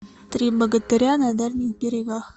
три богатыря на дальних берегах